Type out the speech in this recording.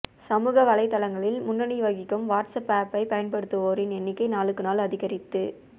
சமூகவலைதளங்களில் முன்னணி வகிக்கும் வாட்ஸ் அப்பை பயன்படுத்துவோரின் எண்ணிக்கை நாளுக்கு நாள் அதிகரித்து